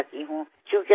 বহুত বহুত প্ৰণাম